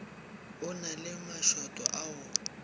a na le mašoto ao